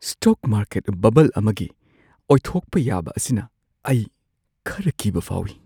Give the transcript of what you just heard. Stock market ꯕꯕꯜ ꯑꯃꯒꯤ ꯑꯣꯏꯊꯣꯛꯄ ꯌꯥꯕ ꯑꯁꯤꯅ ꯑꯩ ꯈꯔ ꯀꯤꯕ ꯐꯥꯎꯏ꯫